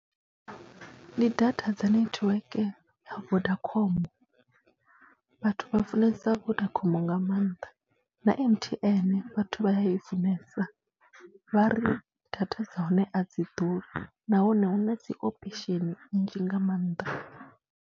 Ndi data dza netiweke ya Vodacom, vhathu vha funesa Vodacom nga maanḓa na M_T_N vhathu vha ya i funesa, vha ri data dza hone a dzi ḓura nahone hu na dzi option nnzhi nga maanḓa.